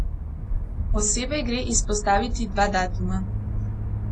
Posebej gre izpostaviti dva datuma.